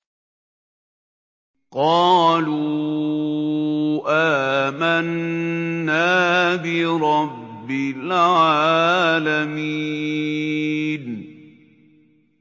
قَالُوا آمَنَّا بِرَبِّ الْعَالَمِينَ